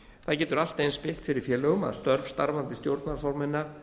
það getur allt eins spillt fyrir félögum að störf starfandi stjórnarformanna